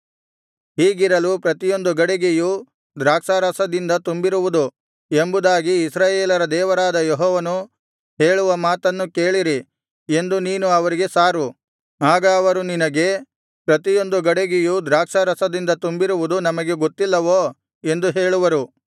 ಹೀಗಿರಲು ಪ್ರತಿಯೊಂದು ಗಡಿಗೆಯು ದ್ರಾಕ್ಷಾರಸದಿಂದ ತುಂಬಿರುವುದು ಎಂಬುದಾಗಿ ಇಸ್ರಾಯೇಲರ ದೇವರಾದ ಯೆಹೋವನು ಹೇಳುವ ಮಾತನ್ನು ಕೇಳಿರಿ ಎಂದು ನೀನು ಅವರಿಗೆ ಸಾರು ಆಗ ಅವರು ನಿನಗೆ ಪ್ರತಿಯೊಂದು ಗಡಿಗೆಯು ದ್ರಾಕ್ಷಾರಸದಿಂದ ತುಂಬಿರುವುದು ನಮಗೆ ಗೊತ್ತಿಲ್ಲವೋ ಎಂದು ಹೇಳುವರು